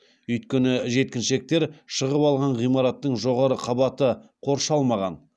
үйткені жеткіншектер шығып алған ғимараттың жоғары қабаты қоршалмаған